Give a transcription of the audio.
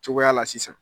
Cogoya la sisan